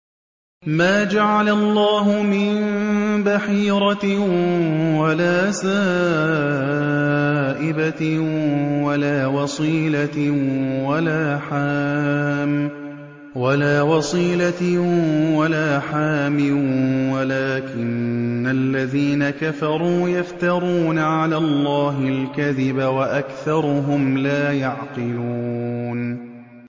مَا جَعَلَ اللَّهُ مِن بَحِيرَةٍ وَلَا سَائِبَةٍ وَلَا وَصِيلَةٍ وَلَا حَامٍ ۙ وَلَٰكِنَّ الَّذِينَ كَفَرُوا يَفْتَرُونَ عَلَى اللَّهِ الْكَذِبَ ۖ وَأَكْثَرُهُمْ لَا يَعْقِلُونَ